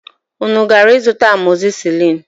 Unu gara ịzụta amọzisilin?